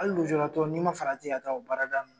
Hali lujuratɔ n'i ma farati ka taa o ka baarada